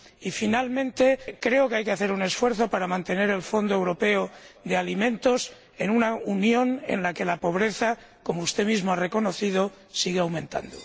Y, por último, creo que hay que hacer un esfuerzo para mantener el fondo europeo de alimentos en una Unión en la que la pobreza, como usted mismo ha reconocido, sigue aumentando.